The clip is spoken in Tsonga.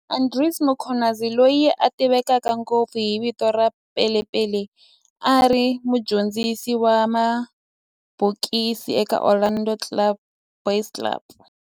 Andries Mkhwanazi, loyi a tiveka ngopfu hi vito ra Pele Pele, a ri mudyondzisi wa mabokisi eka Orlando Boys Club